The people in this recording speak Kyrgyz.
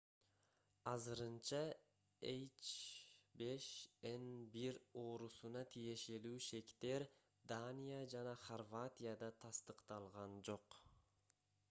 азырынча h5n1 оорусуна тиешелүү шектер дания жана хорватияда тастыкталган жок